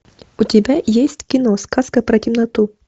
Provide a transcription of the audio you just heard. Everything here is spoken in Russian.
у тебя есть кино сказка про темноту